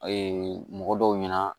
mɔgɔ dɔw ɲɛna